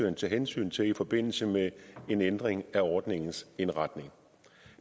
at tage hensyn til i forbindelse med en ændring af ordningens indretning